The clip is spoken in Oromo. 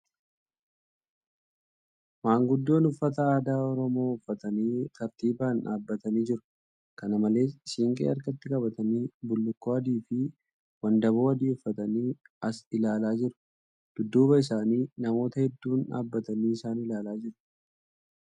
Maanguddoon uffata aadaa Oromoo uffatanii tartiibaan dhaabbatanii jiru. Kana malees, siinqee harkatti qabatanii bullukkoo adii fi wandabaoo adii uffatanii as ilaalaa jiru. Dudduuba isaaniitti namoonni hedduun dhaabatanii isaan ilaalaa jiru.